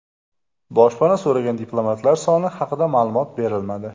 Boshpana so‘ragan diplomatlar soni haqida ma’lumot berilmadi.